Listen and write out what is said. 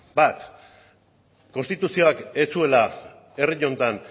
bat konstituzioak ez zuela herri honetan